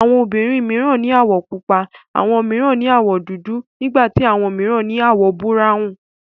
Àwọn obìnrin mìíran ní àwọ̀ pupa, àwọn mìíràn ní àwọ̀ dúdú, nígbà tí àwọn mìíràn ní àwọ̀ búráwùn.